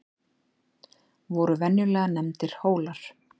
voru venjulega nefndir hólar